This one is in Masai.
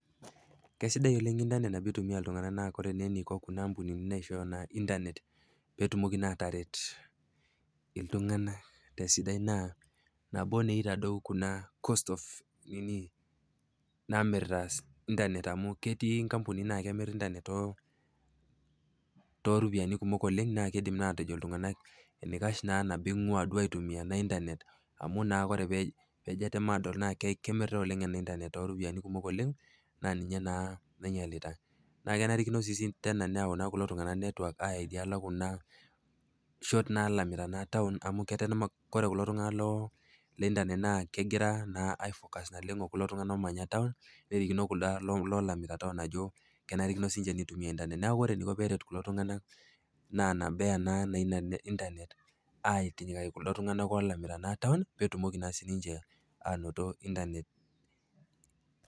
Keisidai oleng' internet teneitumiya iltung'ana naa kore eneiko kuna apmunini naa naishooyo internet pee etumoki naa ataret iltung'ana te esidai naa nabo naa eitadou kuna cost of nini naimiirta internet amu ketii inkampunini naamir internet too, too iropiani kumok oleng' naake keidim naake atejo iltung'ana eneikah naa teneing'waa duo aitumiya ena internet amu kre naa pee ijo atem aadol naake kemirtai oleng' ena internet too iropiani kumok oleng' naa ninye naa naiyalita. Naa kenarikinino sii teena neyau naa kulo tung'ana network ayaa idialo e kuna shot naalaita naa taun amu keten maa, kore kulo tung'ana loo internet naa kegira naa aifokas naleng' o kulo tung'ana oomanya taun, nerikino kuldo oolamita taun ajo kenarikino sii ninche neitumiya internet neaku kore eneiko peeret kulo tung'ana naa nabo eya naa ina internet aitinyikaki kuldo tung'ana naa olamita taun pee etumoki naa sininche anoto internet.